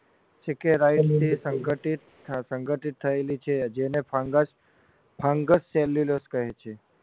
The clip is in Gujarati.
સંગઠિત સંગઠિતથયેલી છે જેને fungus fungus cellulose કહે છે